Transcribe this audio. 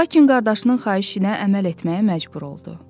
Lakin qardaşının xahişinə əməl etməyə məcbur oldu.